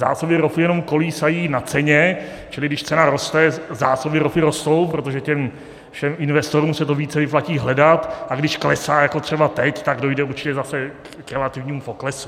Zásoby ropy jenom kolísají na ceně, čili když cena roste, zásoby ropy rostou, protože těm všem investorům se to více vyplatí hledat, a když klesá jako třeba teď, tak dojde určitě zase k relativnímu poklesu.